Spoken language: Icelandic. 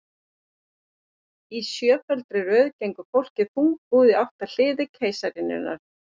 Í sjötugfaldri röð gengur fólkið þungbúið í átt að hliði keisaraynjunnar.